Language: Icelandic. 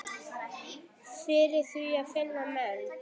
Og fyrir því finna menn.